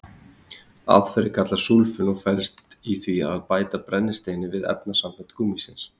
Aðferðin kallast súlfun og felst í því að bæta brennisteini við efnasambönd gúmmísins.